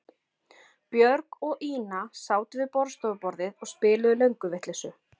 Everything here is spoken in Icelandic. Björg og Ína sátu við borðstofuborðið og spiluðu lönguvitleysu.